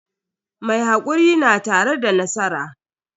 Mai hakuri na tare da nasara.